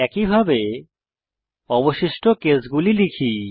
একইভাবে অবশিষ্ট কেসগুলি লিখি